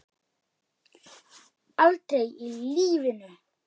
Aldrei í lífinu!